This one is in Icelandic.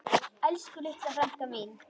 Elsku litla frænka mín.